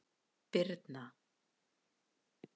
Birna